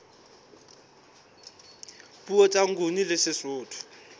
puo tsa nguni le sesotho